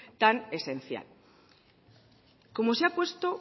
tan esencial como se ha puesto